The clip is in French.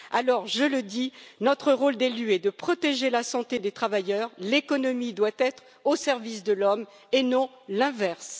Alors, je le dis, notre rôle d'élus est de protéger la santé des travailleurs, l'économie doit être au service de l'homme et non l'inverse.